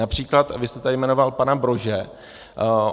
Například vy jste tady jmenoval pana Brože.